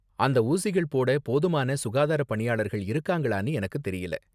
அந்த ஊசிகள் போட போதுமான சுகாதார பணியாளர்கள் இருக்காங்களான்னு எனக்கு தெரியல.